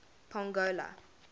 pongola